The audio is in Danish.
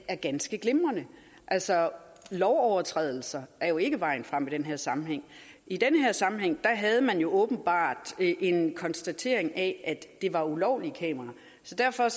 er ganske glimrende altså lovovertrædelser er jo ikke vejen frem i den her sammenhæng i den her sammenhæng havde man åbenbart en konstatering af at det var ulovlige kameraer så derfor